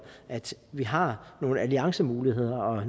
at vi har nogle alliancemuligheder og